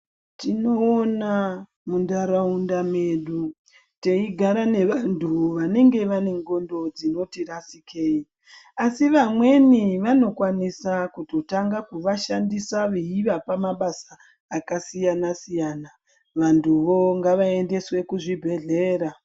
Tinoona mundaraunda medu teigara nevantu vanenge vane ngondo dzinoti rasikei , asi vamweni vanokwanisa kutotanga kuvashandisa veivapa mabasa akasiyana siyana .Vantuvo ngavaendeswe kuzvibhedhlera .